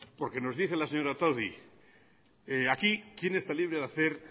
porque nos dice la señora otadui aquí quién está libre de hacer